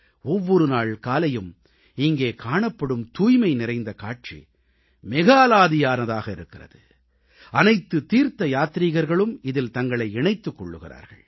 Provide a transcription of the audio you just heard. ஒவ்வொரு நாள் காலையும் இங்கே காணப்படும் தூய்மை நிறைந்த காட்சி மிக அலாதியானதாக இருக்கிறது அனைத்து தீர்த்தயாத்ரீகர்களும் இதில் தங்களை இணைத்துக் கொள்கிறார்கள்